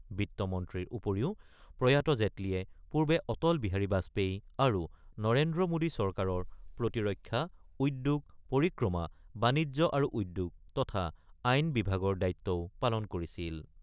বিত্তমন্ত্ৰীৰ উপৰিও প্ৰয়াত জেটলীয়ে পূৰ্বে অটল বিহাৰী বাজপেয়ী আৰু নৰেন্দ্ৰ মোদী চৰকাৰৰ প্ৰতিৰক্ষা, উদ্যোগ পৰিক্ৰমা, বাণিজ্য আৰু উদ্যোগ তথা আইন বিভাগৰ দায়িত্বও পালন কৰিছিল।